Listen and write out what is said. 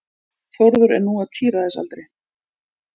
Þórður er nú á tíræðisaldri.